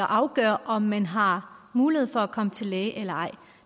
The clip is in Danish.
afgøre om man har mulighed for at komme til læge eller ej